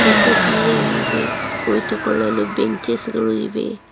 ಕಿಟಕಿಗಳಿವೆ ಕುಳಿತುಕೊಳ್ಳಲು ಬೆಂಚಸ್ ಗಳು ಇವೆ.